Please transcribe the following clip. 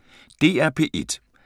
DR P1